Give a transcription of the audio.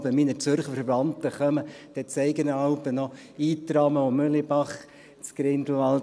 Wenn jeweils meine Zürcher Verwandten kommen, dann zeige ich noch Itramen und Mühlebach in Grindelwald;